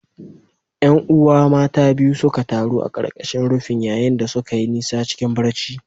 ’Yan’uwa mata biyu suka taru a ƙarƙashin rufin, yayin da suka yi nisa cikin barci.